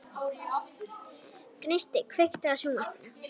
Gneisti, kveiktu á sjónvarpinu.